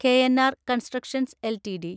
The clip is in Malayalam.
KNR constructions LTD